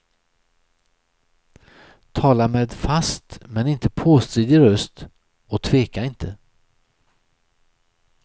Tala med fast men inte påstridig röst och tveka inte.